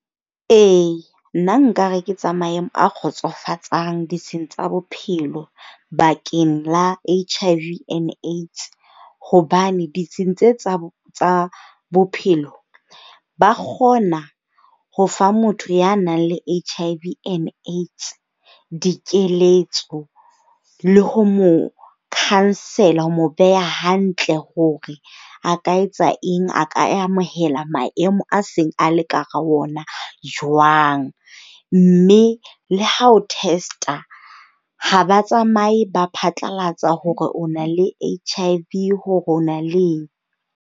E, nna nkare ke tsa maemo a kgotsofatsang ditsheng tsa bophelo bakeng la H_I_V and AIDS. Hobane ditsheng tse tsa bophelo ba kgona ho fa motho ya nang le H_I_V and AIDS dikeletso. Le ho mo cousel-a, ho mo beha hantle hore a ka etsa eng. A ka amohela maemo a seng a le ka hara ona jwang. Mme le ha o test-a ha ba tsamaye, ba phatlalatsa hore o na le H_I_V, hore o na le eng.